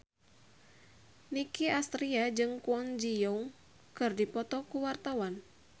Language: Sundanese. Nicky Astria jeung Kwon Ji Yong keur dipoto ku wartawan